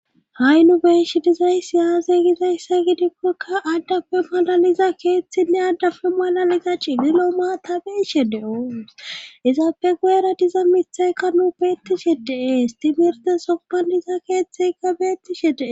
ha7i nu beeshe dizaysi aze gizayssa gidikkokka addafe malaliza keeththinne addafe malaliza cigilo maa tabeeshe de7o izaapfe guyera diza mithaykka nu beettishe dee stimirte soppaniza keeththega beettishe dee